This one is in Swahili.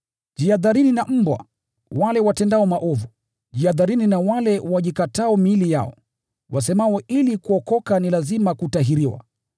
Jihadharini na mbwa, wale watenda maovu, jihadharini na wale wajikatao miili yao, wasemao ili kuokoka ni lazima kutahiriwa.